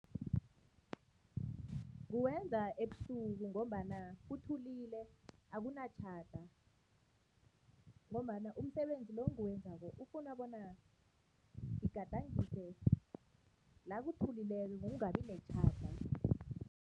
Nguwenza ebusuku ngombana kuthulekile akunatjhada ngombana umsebenzi lo onguwenzako ufuna bona ngigadangise la kuthulileko, kungabi netjhada.